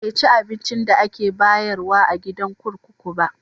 Bai ci abincin da ake bayarwa a gidan kurkuku ba.